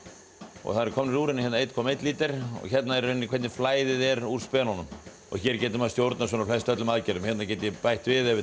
og það er kominn úr henni eitt komma einn lítri og hérna er í rauninni hvernig flæðið er úr spenunum hér getur maður stjórnað svona flestöllum aðgerðum hér get ég bætt við ef þetta